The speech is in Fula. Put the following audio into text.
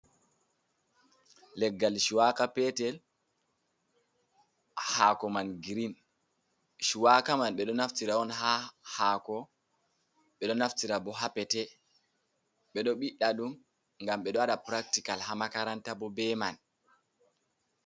Leggal shuwaka petel, hako man grein, chuwaka man ɓe ɗo naftira on ha hako, ɓeɗo naftira bo ha pete, ɓeɗo ɓiɗɗa ɗum gam ɓe ɗo waɗa piractical ha makaranta bo be man.